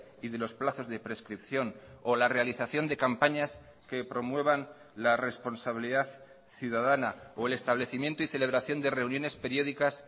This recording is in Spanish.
y de los plazos de prescripción o la realización de campañas que promuevan la responsabilidad ciudadana o el establecimiento y celebración de reuniones periódicas